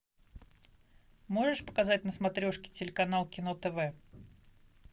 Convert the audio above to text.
можешь показать на смотрешке телеканал кино тв